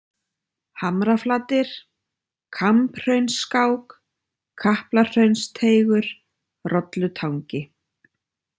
Hamraflatir, Kambhraunsskák, Kaplahraunsteigur, Rollutangi